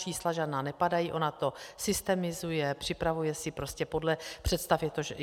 Čísla žádná nepadají, ona to systemizuje, připravuje si podle představ.